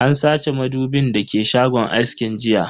An sace madubin da ke shagon askin jiya.